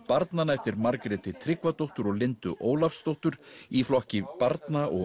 barnanna eftir Margréti Tryggvadóttur og Lindu Ólafsdóttur í flokki barna og